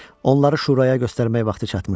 Onları şuraya göstərmək vaxtı çatmışdı.